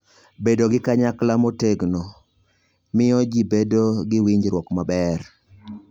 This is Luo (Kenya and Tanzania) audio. Bedo gi Kanyakla Motegno: Miyo ji bedo gi winjruok maber.